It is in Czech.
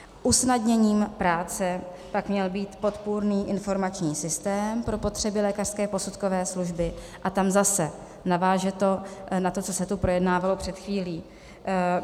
Usnadněním práce pak měl být podpůrný informační systém pro potřeby lékařské posudkové služby a tam zase naváže to na to, co se tu projednávalo před chvílí.